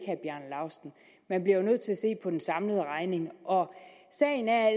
man bliver jo nødt til at se på den samlede regning sagen er